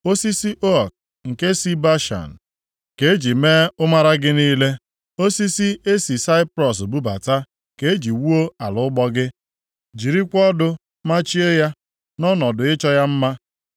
Osisi ook nke si Bashan ka e ji mee ụmara gị niile. Osisi e si Saiprọs bubata ka e ji wuo ala ụgbọ gị, jirikwa ọdụ machie ya nʼọnọdụ ịchọ ya mma.